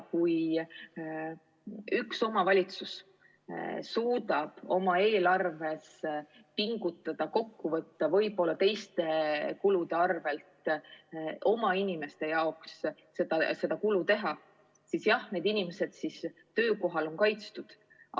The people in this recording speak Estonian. Kui üks omavalitsus suudab oma eelarves pingutada, end kokku võtta, võib-olla teiste kulude arvel oma inimeste huvides selle kulu teha, siis jah, need inimesed töökohal on kaitstud.